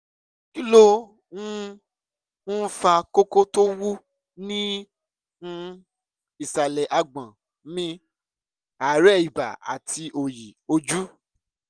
kí ló um ń fa kókó tó wú ní um ìsàlẹ̀ àgbọ̀n mi àárẹ̀ ibà àti òòyì ojú?